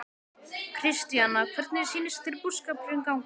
Kristjana, hvernig sýnist þér búskapurinn ganga?